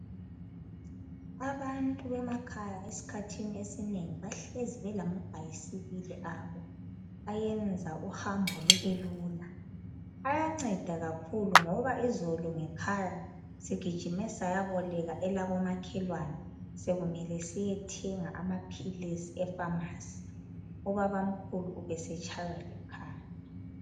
Abantu bemakhaya eskhathini esinengi, bahlezibelama bhayisikili abo. Ayenza uhambo lubelula. Ayanceda kakhulu ngoba izolo ngekhaya sigijime sayaboleka elakomakhelwane, sekumele siyethenga amaphilisi efamasi. Ubabamkhulu ubesetshaywa likhanda.